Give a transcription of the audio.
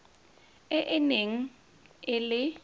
e e neng e le